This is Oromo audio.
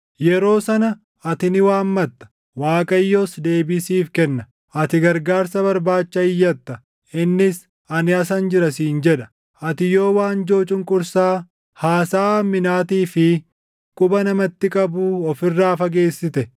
Yeroo sana ati ni waammatta; Waaqayyos deebii siif kenna; ati gargaarsa barbaacha iyyatta; innis, ‘Ani asan jira’ siin jedha. “Ati yoo waanjoo cunqursaa, haasaʼa hamminaatii fi quba namatti qabuu of irraa fageessite,